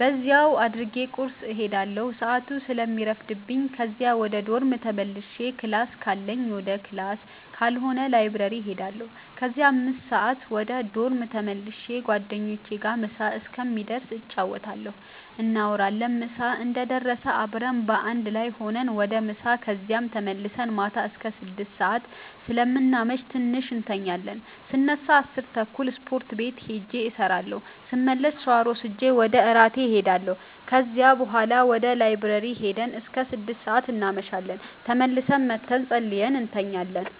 በዚያው አድርጌ ቁርስ እሄዳለሁ ሰአቱ ስለሚረፍድብኝ ከዚያ ወደ ዶርም ተመልሼ ክላስ ካለኝ ወደ ክላስ ካልሆነ ላይብረሪ እሄዳለሁ ከዚያ 5:00 ወደ ዶርም ተመልሼ ጓደኞቼ ጋር ምሳ እስከሚደርስ እንጫወታለን፣ እናወራለን ምሳ እንደደረሰ አብረን በአንድ ላይ ሁነን ወደ ምሳ ከዚያም ተመልሰን ማታ አስከ 6:00 ሰአት ስለምናመሽ ትንሽ እንተኛለን ስነሳ 10:30 ስፖርት ቤት ሂጄ እሰራለሁ ስመለስ ሻወር ወስጄ ወደ እራት እሄዳለሁ ከዚያ ቡሀላ ወደ ላይብረሪ ሂደን እስከ 6:00 እናመሻለን ተመልሰን መተን ፀልየን እንተኛለን።